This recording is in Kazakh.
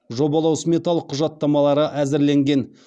жобалау сметалық құжаттамалары әзірленген